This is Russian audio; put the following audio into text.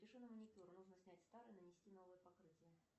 запиши на маникюр нужно снять старое и нанести новое покрытие